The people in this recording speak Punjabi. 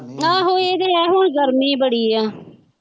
ਆਹੋ ਇਹ ਤੇ ਹੈ ਹੁਣ ਗਰਮੀ ਬੜੀ ਹੈ।